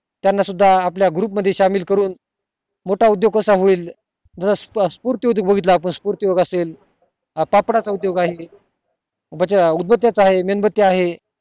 त्याना सुद्धा आपल्या group मध्ये सामील करून मोठा उदोग कसा होईल जस सुपूर्ती बघितलं आपण सूतपूर्ती असेल पापडाचा उदोग आहे उदबत्या चा आहे मेणबदत्या चा आहे